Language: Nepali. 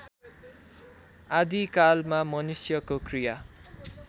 आदिकालमा मनुष्यको क्रिया